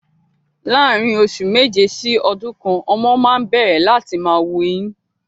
Láàrin oṣù méje sí ọdún kan, ọmọ máa ń n bẹ̀rẹ̀ láti máa wu eyín